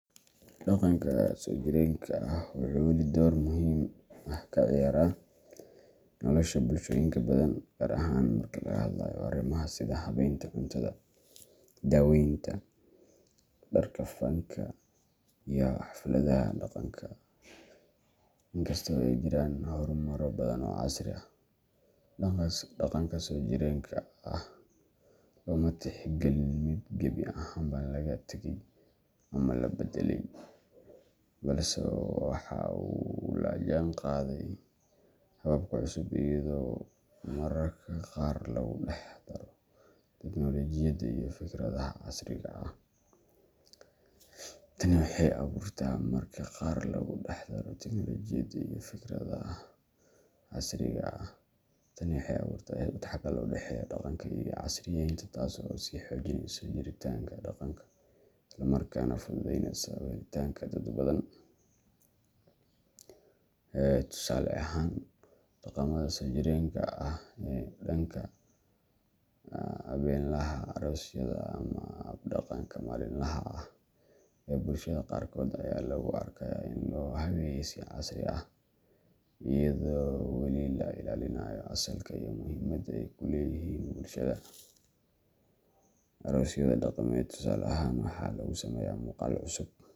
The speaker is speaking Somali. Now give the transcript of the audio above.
Dhaqanka soo jireenka ah wuxuu weli door muhiim ah ka ciyaaraa nolosha bulshooyinka badan, gaar ahaan marka laga hadlayo arrimaha sida habaynta cuntada, daweynta, dharka, fanka, iyo xafladaha dhaqanka. Inkasta oo ay jiraan horumaro badan oo casri ah, dhaqanka soo jireenka ah looma tixgelin mid gebi ahaanba laga tagay ama la beddelay, balse waxa uu la jaanqaaday hababka cusub, iyadoo mararka qaar lagu dhex daro tiknoolajiyada iyo fikradaha casriga ah. Tani waxay abuurtaa isdhexgal u dhexeeya dhaqanka iyo casriyeynta, taas oo sii xoojinaysa jiritaanka dhaqanka isla markaana fududeyneysa u helitaanka dad badan. Tusaale ahaan, dhaqamada soo jireenka ah ee dhanka habeenlaha, aroosyada, ama hab-dhaqanka maalinlaha ah ee bulshada qaarkood ayaa lagu arkayaa in loo habeeyay si casri ah, iyadoo weli la ilaalinayo asalka iyo muhiimadda ay ku leeyihiin bulshada. Aroosyada dhaqameed, tusaale ahaan, waxaa lagu sameeyaa muuqaal cusub.